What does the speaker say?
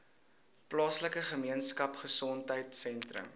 plaaslike gemeenskapgesondheid sentrum